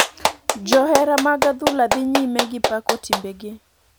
Johera mag adhula dhi nyime gi pako timbe gi.